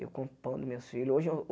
Eu compro pão dos meus filhos. Hoje eu